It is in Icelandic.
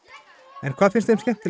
en hvað finnst þeim skemmtilegast